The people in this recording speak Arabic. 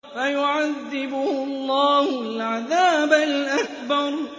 فَيُعَذِّبُهُ اللَّهُ الْعَذَابَ الْأَكْبَرَ